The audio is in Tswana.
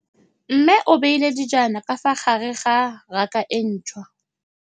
Mmê o beile dijana ka fa gare ga raka e ntšha.